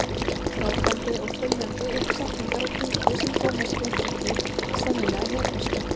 Grátandi og þyljandi upp setningar á tungu sem Thomas skildi ekki, sennilega hebresku.